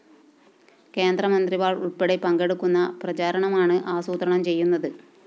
കേന്ദ്രമന്ത്രിമാര്‍ ഉള്‍പ്പെടെ പങ്കെടുക്കുന്ന പ്രചാരണമാണ് ആസൂത്രണം ചെയ്യുന്നത്